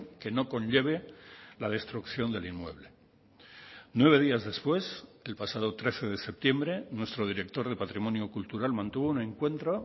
que no conlleve la destrucción del inmueble nueve días después el pasado trece de septiembre nuestro director de patrimonio cultural mantuvo un encuentro